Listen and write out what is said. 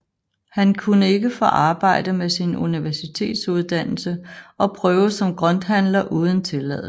Han kunne ikke få arbejde med sin universitetsuddannelse og prøvede som grønthandler uden tilladelse